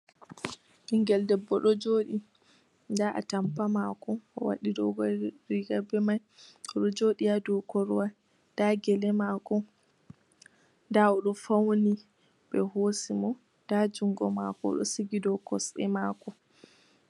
Ɓingel debbo ɗo joɗi, nda atampa mako o waɗi doguwar riga be mai, o ɗo joɗi ha dou korowal, nda gele mako, nda o ɗo fauni ɓe hosi mo, nda jungo mako ɗo sigi dou kosɗe mako.